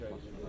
İnşallah.